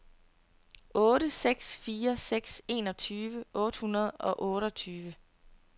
otte seks fire seks enogtyve otte hundrede og otteogtyve